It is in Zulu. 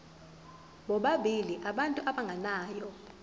bobabili abantu abagananayo